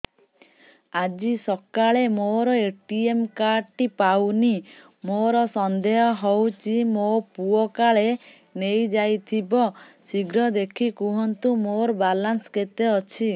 ଆଜି ସକାଳେ ମୋର ଏ.ଟି.ଏମ୍ କାର୍ଡ ଟି ପାଉନି ମୋର ସନ୍ଦେହ ହଉଚି ମୋ ପୁଅ କାଳେ ନେଇଯାଇଥିବ ଶୀଘ୍ର ଦେଖି କୁହନ୍ତୁ ମୋର ବାଲାନ୍ସ କେତେ ଅଛି